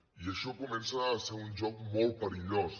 i això comença a ser un joc molt perillós